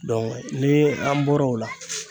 ni an bɔra o la.